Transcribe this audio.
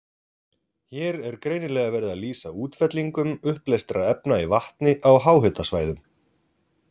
Hér er greinilega verið að lýsa útfellingum uppleystra efna í vatni á háhitasvæðum.